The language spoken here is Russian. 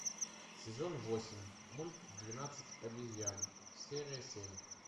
сезон восемь мульт двенадцать обезьян серия семь